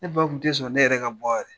Ne ba tun tɛ sɔn ne yɛrɛ ka bɔ yɛrɛ